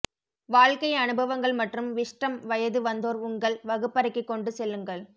வாழ்க்கை அனுபவங்கள் மற்றும் விஸ்டம் வயது வந்தோர் உங்கள் வகுப்பறைக்கு கொண்டு செல்லுங்கள்